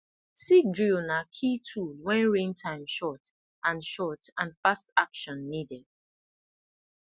seed drill na key tool when rain time short and short and fast action needed